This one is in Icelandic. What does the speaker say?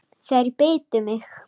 Þeir bitu mig.